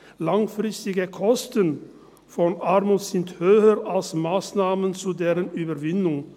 Langfristige Kosten von Armut sind höher als Massnahmen zu deren Überwindung.